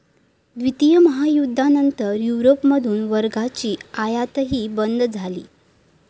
द्वितीय महायुद्धानंतर यूरोपमधून वर्गांची आयातही बंद झाली.